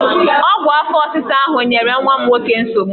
Ọgwụ afọ ọsịsa ahụ nyere nwa m nwoke nsogbu!